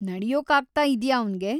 ನಡ್ಯೋಕ್ಕಾಗ್ತಾ‌ಇದ್ಯಾ ಅವ್ನಿಗೆ?